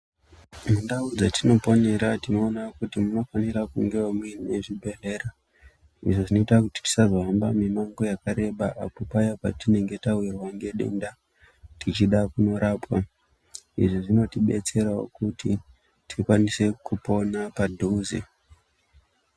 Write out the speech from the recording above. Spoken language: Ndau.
Mundau dzatinoponera tinoona kuti munofanira kungewo muine zvibhedhlera. Izvi zvinoita kuti tisazohambawo mimango yakareba apo paya patinenge tawirwa ngedenda tichida kunorapwa. Izvi zvinotidetserawo kuti tikwanise kupona padhuze.